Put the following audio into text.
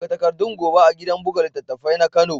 Buga takardun gobe a gidan buga littattafai na kano.